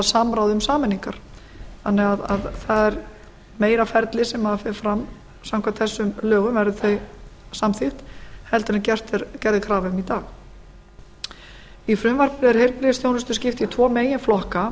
samráð um sameiningar það er því meira ferli sem fer fram samkvæmt þessum lögum verði þau samþykkt en gerð er krafa um í dag í frumvarpinu er heilbrigðisþjónustu skipt í tvo meginflokka það